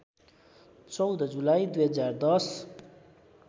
१४ जुलाई २०१०